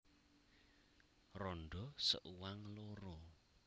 Randha seuang loro